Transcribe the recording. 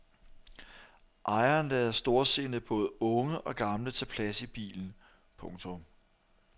Ejeren lader storsindet både unge og gamle tage plads i bilen. punktum